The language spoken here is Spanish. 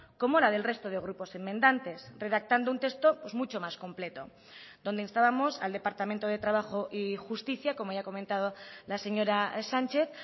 como la del resto de grupos enmendantes redactando un texto pues mucho más completo donde instábamos al departamento de trabajo y justicia como ya ha comentado la señora sánchez